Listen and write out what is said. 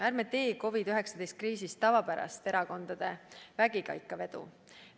Ärme teeme COVID-19 kriisist tavapärast erakondade vägikaikavedu!